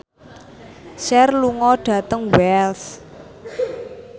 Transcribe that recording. Cher lunga dhateng Wells